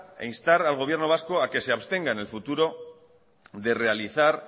e instar al gobierno vasco a que se abstenga en el futuro de realizar